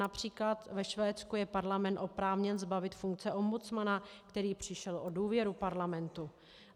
Například ve Švédsku je parlament oprávněn zbavit funkce ombudsmana, který přišel o důvěru parlamentu.